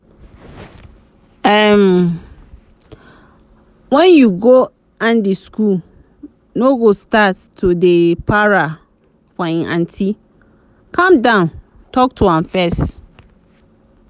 um when you go andy school no go start to dey para for im aunty calm down talk to am first